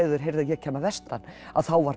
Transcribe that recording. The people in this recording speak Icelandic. þeir heyrðu að ég kæmi að vestan að þá var